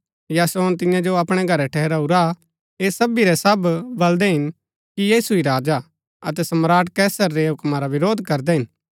यासोन तियां जो अपणै घरै ठहराऊरा हा ऐह सबी रै सब बलदै हिन कि यीशु ही राजा हा अतै सम्राट कैसर रै हूक्मा रा विरोध करदै हिन